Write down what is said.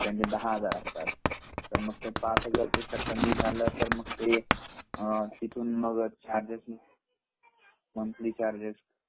काही काही दहा हजार असतात तर मग ते पाच हजार पेक्षा कमी झाल तर पुढे मंथली चार्गेस